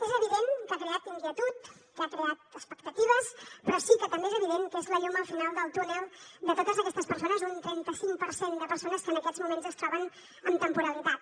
és evident que ha creat inquietud que ha creat expectatives però sí que també és evident que és la llum al final del túnel de totes aquestes persones un trenta cinc per cent de persones que en aquests moments es troben amb temporalitat